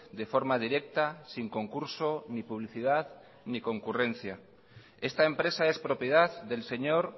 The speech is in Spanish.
de forma directa sin concurso ni publicidad ni concurrencia esta empresa es propiedad del señor